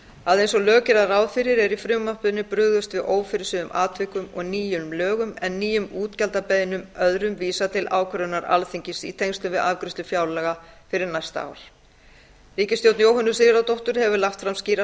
að eins og lög gera ráð fyrir er í frumvarpinu brugðist við ófyrirséðum atvikum og nýjum lögum en öðrum nýjum útgjaldabeiðnum vísað til ákvörðunar alþingis í tengslum við afgreiðslu fjárlaga fyrir næsta ár ríkisstjórn jóhönnu sigurðardóttur hefur lagt fram skýra